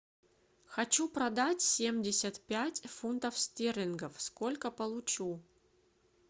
хочу продать семьдесят пять фунтов стерлингов сколько получу